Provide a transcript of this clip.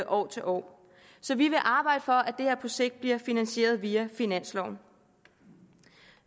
år til år så vi vil arbejde for at det her projekt bliver finansieret via finansloven